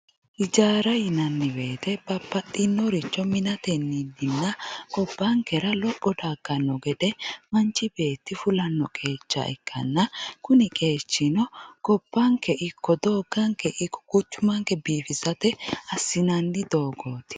ijaara yinanni woyiite babbaxinnoricho minateninna gobbankera lopho dagganno gede manch beetti fulanno qeecha ikkanna kuni qeechino gobbanke ikko dooga ikko quchumanke biifisate assinanni doogooti.